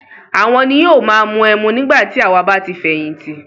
Àwọn ni yóò máa mu ẹmu nígbà tí àwà bá ti fẹ̀yìntì.